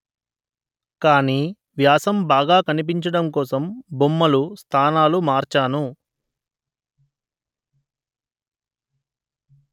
కానీ వ్యాసం బాగా కనిపించడం కోసం బొమ్మలు స్థానాలు మార్చాను